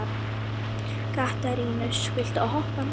Katarínus, viltu hoppa með mér?